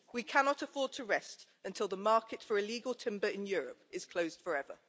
We cannot afford to rest until the market for illegal timber in Europe is closed forever.